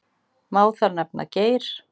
Má þar nefna: Geir